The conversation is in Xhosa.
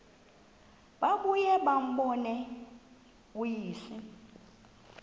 babuye bambone uyise